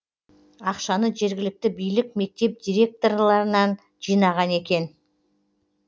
ақшаны жергілікті билік мектеп директорларынан жинаған екен